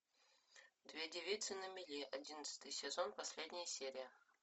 две девицы на мели одиннадцатый сезон последняя серия